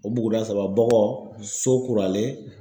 O buguda saba Bɔgɔ, Sokuralen.